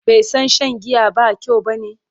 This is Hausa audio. bai San Shan giya ba kyau bane?